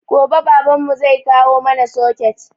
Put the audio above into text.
Gobe baban mu zai kawo mana soket